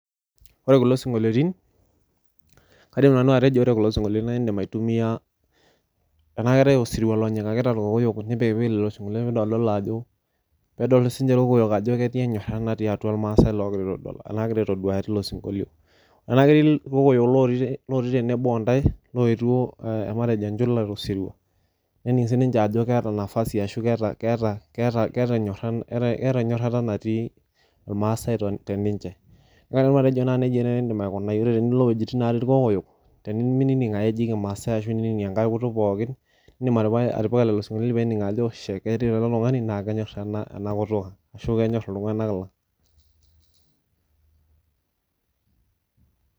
Ore kulo sinkoliotin , kaidim nanu atejo ore kulo sinkoliotin naa indim aitumia, tenaa keetae osirua lonyikakita irkokoyo nipikpiki lelo sinkoliotin pidoldolo ajo ,pedol sinche irkokoyo ajo ketii enyorata natii atua irmaasae logira aitoduaya tilo sinkolio. Tenaa ketii irkokoyo lotii tenebo ontae loetwo matejo enchula tosirua nening sininche ajo keeta nafasi ashu keeta , keeta , keeta enyorata natii irmaasae teninche . Ore pajoito nejia naa indim aikunai , yiolo tenilo wuejitin natii irkokoyo tenining ake eji kimaasae ashu inining enkae kutuk pookin indim atipika lelo sinkoliotin pening ajo , shie ore ele tungani naa kenyor enakutuk ang ashu kenyor iltunganak lang.